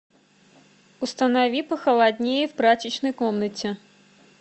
установи похолоднее в прачечной комнате